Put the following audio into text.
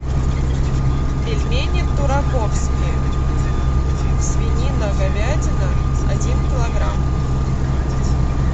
пельмени тураковские свинина говядина один килограмм